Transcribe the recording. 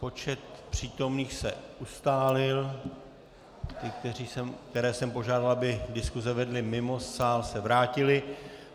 Počet přítomných se ustálil, ti, které jsem požádal, aby diskuze vedli mimo sál, se vrátili.